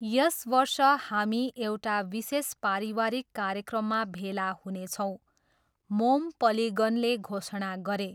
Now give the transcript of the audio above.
यस बर्ष हामी एउटा विशेष परिवारिक कार्यक्रममा भेला हुनेछौँ, मोम पलिगनले घोषणा गरे।